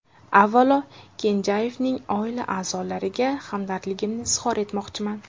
Avvalo, Kenjayevning oila a’zolariga hamdardligimni izhor etmoqchiman.